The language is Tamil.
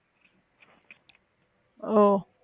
ஓ